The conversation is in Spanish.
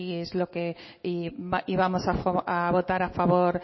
es lo que vamos a votar a favor